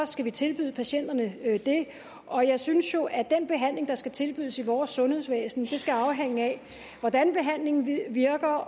skal vi tilbyde patienterne det og jeg synes jo at den behandling der skal tilbydes i vores sundhedsvæsen skal afhænge af hvordan behandlingen virker